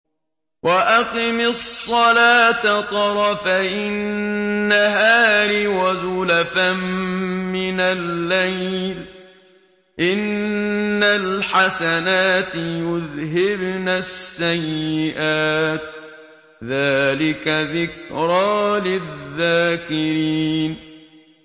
وَأَقِمِ الصَّلَاةَ طَرَفَيِ النَّهَارِ وَزُلَفًا مِّنَ اللَّيْلِ ۚ إِنَّ الْحَسَنَاتِ يُذْهِبْنَ السَّيِّئَاتِ ۚ ذَٰلِكَ ذِكْرَىٰ لِلذَّاكِرِينَ